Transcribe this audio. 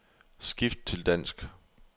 Skift til dansk.